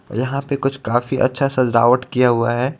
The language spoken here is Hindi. यहाँ पे कुछ काफी अच्छा सजावट किया हुआ हे.